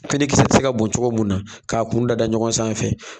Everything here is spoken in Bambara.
Finikisɛ tɛ se ka bɔn cogo min na k'a kun da da ɲɔgɔn sanfɛ.